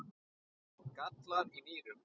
gallar í nýrum